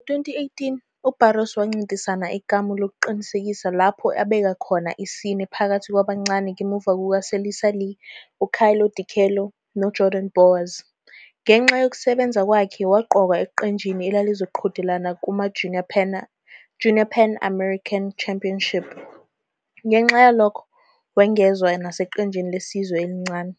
Ngo-2018 uBarros wancintisana ekamu lokuqinisekisa lapho abeka khona isine phakathi kwabancane ngemuva kukaSelisa Lee, uKayla DiCello, noJordan Bowers. Ngenxa yokusebenza kwakhe waqokwa eqenjini elalizoqhudelana kumaJunior Pan American Championship, ngenxa yalokho wengezwe naseqenjini lesizwe elincane.